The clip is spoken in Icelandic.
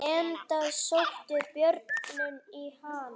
Enda sóttu börnin í hann.